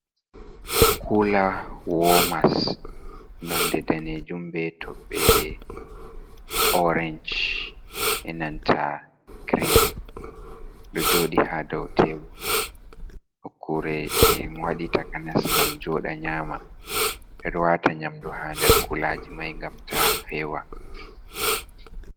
Kula womas nonde dane jum be toɓɓe orance be nanta green ɗo joɗi ha daw tebul, nokkure be waɗi takanas ngam joɗa nyama ɓeɗo wata nyamdu ha nder kulaji mai gam ta fewa.